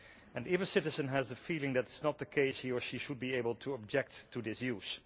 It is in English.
And if a citizen has the feeling that this is not the case, he or she should be able to object to this use.